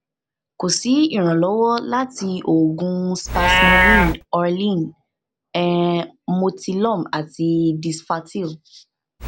ko si iranlọwọ lati oogun spasmomen orlin um motilum ati disflatyl